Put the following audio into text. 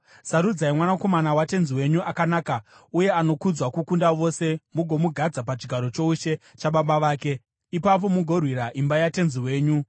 sarudzai mwanakomana watenzi wenyu akanaka, uye anokudzwa kukunda vose mugomugadza pachigaro choushe chababa vake. Ipapo mugorwira imba yatenzi wenyu.”